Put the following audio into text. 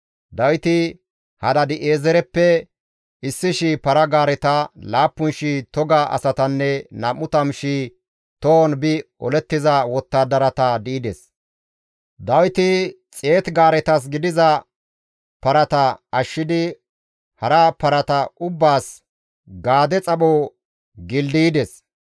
Dawiti Hadaadi7eezereppe 1,000 para-gaareta, 7,000 toga asatanne 20,000 tohon bi olettiza wottadarata di7ides; Dawiti 100 gaaretas gidiza parata ashshidi hara parata ubbaas gaade xapho gildaydes.